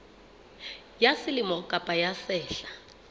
ya selemo kapa ya sehla